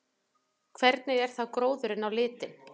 Hvernig er þá gróðurinn á litinn?